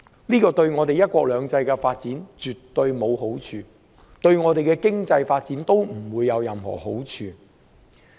這對"一國兩制"的發展，絕對沒有好處；對香港的經濟發展，亦不會有任何好處。